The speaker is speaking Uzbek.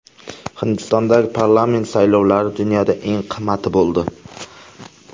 Hindistondagi parlament saylovlari dunyoda eng qimmati bo‘ldi.